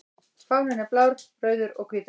Fáninn er blár, rauður og hvítur.